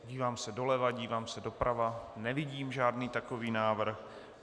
Dívám se doleva, dívám se doprava, nevidím žádný takový návrh.